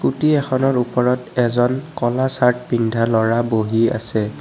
Scooty এখনৰ ওপৰত এজন ক'লা চাৰ্ত পিন্ধা ল'ৰা বহি আছে।